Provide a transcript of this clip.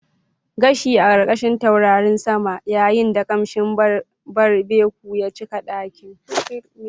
Gashi a ƙarƙashin taurarin sama yayin da ƙamshin barbecue ya cika ɗakin.